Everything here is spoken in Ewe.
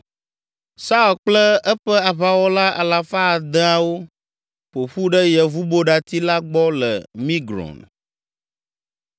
Saul kple eƒe aʋawɔla alafa adeawo (600) ƒo ƒu ɖe yevuboɖati la gbɔ le Migron.